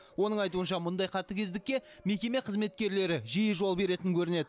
оның айтуынша мұндай қатыгездікке мекеме қызметкерлері жиі жол беретін көрінеді